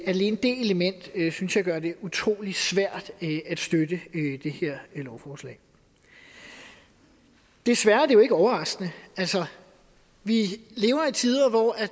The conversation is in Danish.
alene det element synes jeg gør det utrolig svært at støtte det her lovforslag desværre er det jo ikke overraskende vi lever i tider hvor